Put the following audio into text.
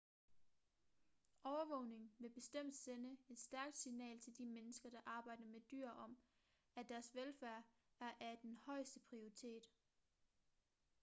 overvågningen vil bestemt sende et stærkt signal til de mennesker der arbejder med dyr om at deres velfærd er af den højeste prioriteret